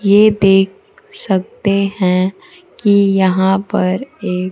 ये देख सकते हैं कि यहां पर एक--